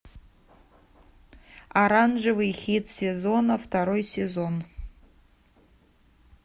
оранжевый хит сезона второй сезон